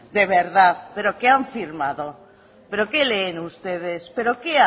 de verdad pero qué han firmado pero qué leen ustedes pero qué